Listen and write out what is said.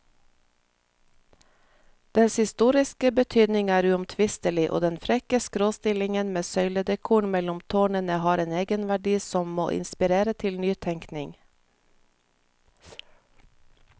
Dens historiske betydning er uomtvistelig, og den frekke skråstillingen med søyledekoren mellom tårnene har en egenverdi som må inspirere til nytenkning.